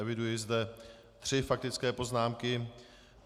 Eviduji zde tři faktické poznámky.